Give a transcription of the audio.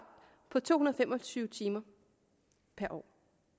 på to hundrede og fem og tyve timer per år